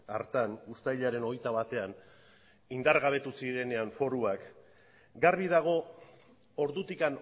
hartan uztailaren hogeita batean indargabetu zirenean foruak garbi dago ordutik